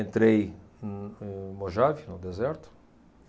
Entrei em, em Mojave, no deserto.